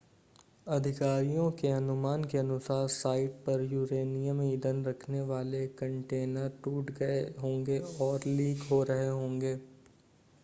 अधिकारियों के अनुमान के अनुसार साइट पर यूरेनियम ईंधन रखने वाले कंटेनर टूट गए होंगे और लीक हो रहे होंगे